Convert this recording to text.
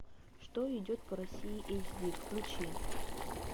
что идет по россии эйч ди включи